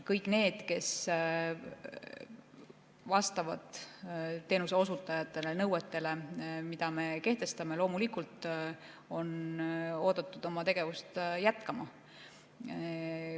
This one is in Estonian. Kõik need, kes teenuseosutajatena vastavad nõuetele, mida me kehtestame, on loomulikult oodatud oma tegevust jätkama.